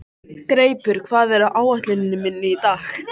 Greipur, hvað er á áætluninni minni í dag?